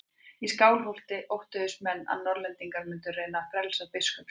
Í Skálholti óttuðust menn að Norðlendingar mundu reyna að frelsa biskup sinn.